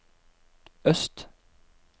øst